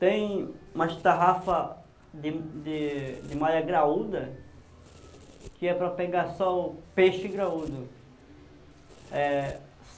Tem umas tarrafa de de de malha graúda, que é para pegar só o peixe graúdo. É...